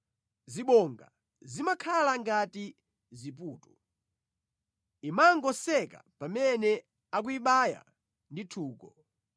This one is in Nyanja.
Zibonga zimakhala ngati ziputu; imangoseka pamene akuyibaya ndi nthungo.